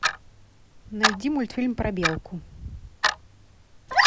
найди мультфильм про белку